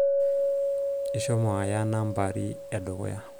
ishomo aya nambari edukuya